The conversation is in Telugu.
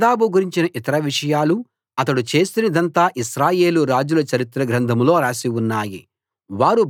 నాదాబు గురించిన ఇతర విషయాలు అతడు చేసినదంతా ఇశ్రాయేలు రాజుల చరిత్ర గ్రంథంలో రాసి ఉన్నాయి